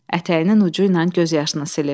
Ətəyinin ucu ilə göz yaşını silir.